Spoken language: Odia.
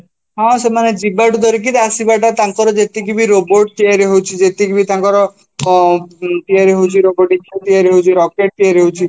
ହଁ, ସେମାନେ ଯିବାଠୁ ଧରିକି ଆସିବାଟା ତାଙ୍କର ଯେତିକି robot ତିଆରି ହଉଚି ସେତିକି ବି ତାଙ୍କର ଅଂ ତିଆରି ହଉଚି robot ହେରିକା ତିଆରି ହଉଚି rocket ତିଆରି ହଉଛି